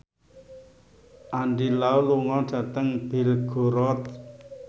Andy Lau lunga dhateng Belgorod